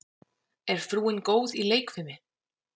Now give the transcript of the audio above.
Er frúin góð í leikfimi?